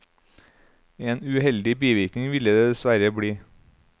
En uheldig bivirkning ville det dessverre bli.